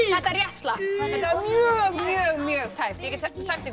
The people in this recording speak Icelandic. þetta rétt slapp og mjög mjög mjög tæpt ég get sagt ykkur